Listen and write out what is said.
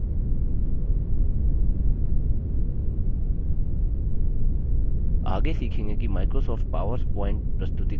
आगे सीखेंगे कि microsoft पावर प्वॉइंट प्रस्तुतिकरण के रूप में लिबर ऑफिस प्रस्तुतिकरण को सेव कैसे करें